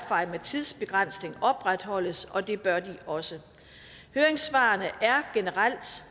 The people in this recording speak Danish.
med tidsbegrænsning opretholdes og det bør de også høringssvarene er generelt